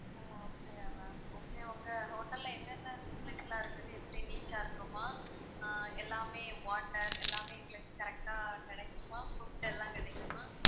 ஓ அப்படியா okay okay உங்க hotel ல என்னென்ன facility லாம் இருக்குது? எப்படி neat ஆ இருக்குமா ஆஹ் எல்லாமே water எல்லாமே எங்களுக்கு correct ஆ கிடைக்குமா food எல்லாம் கிடைக்குமா